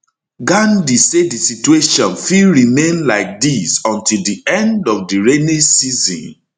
gandi say di situation fit remain like dis until di end of di rainy season